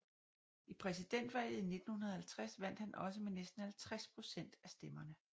I præsidentvalget i 1950 vandt han også med næsten 50 procent af stemmerne